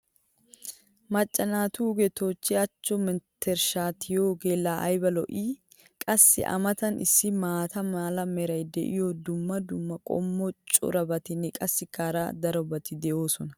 Macca naatugee toochchi achcho mentershshaa tiyiyoogee laa ayba lo'ii? qassi a matan issi maata mala meray diyo dumma dumma qommo corabatinne qassikka hara darobatti de'oosona.